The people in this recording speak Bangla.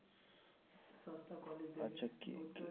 আচ্ছা কি